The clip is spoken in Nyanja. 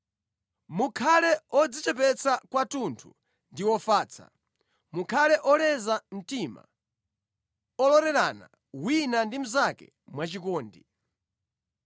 Mukhale odzichepetsa kwathunthu ndi ofatsa; mukhale oleza mtima, ololerana wina ndi mnzake mwachikondi.